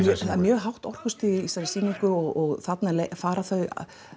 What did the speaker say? mjög hátt í þessari sýningu og þarna fara þau